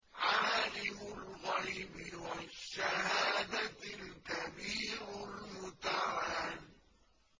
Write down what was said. عَالِمُ الْغَيْبِ وَالشَّهَادَةِ الْكَبِيرُ الْمُتَعَالِ